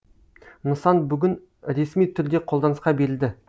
нысан бүгін ресми түрде қолданысқа берілді